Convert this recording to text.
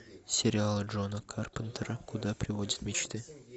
сериал джона карпентера куда приводят мечты